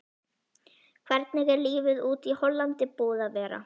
Hvernig er lífið úti í Hollandi búið að vera?